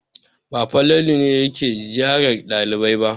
Ba Falalu ne yake ziyarar ɗalibai ba.